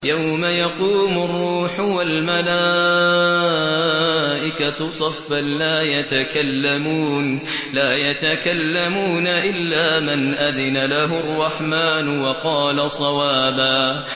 يَوْمَ يَقُومُ الرُّوحُ وَالْمَلَائِكَةُ صَفًّا ۖ لَّا يَتَكَلَّمُونَ إِلَّا مَنْ أَذِنَ لَهُ الرَّحْمَٰنُ وَقَالَ صَوَابًا